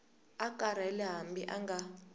a karhele hambi a nga